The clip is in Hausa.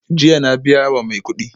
Jiya na biya wa mai kudi